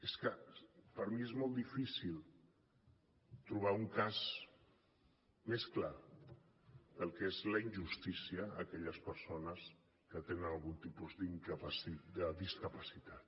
és que per mi és molt difícil trobar un cas més clar del que és la injustícia a aquelles persones que tenen algun tipus de discapacitat